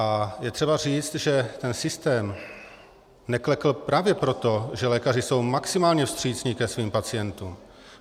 A je třeba říct, že ten systém neklekl právě proto, že lékaři jsou maximálně vstřícní ke svým pacientům.